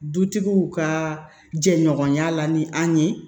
Dutigiw ka jɛɲɔgɔnya la ni an ye